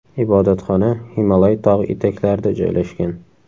Ibodatxona Himolay tog‘i etaklarida joylashgan.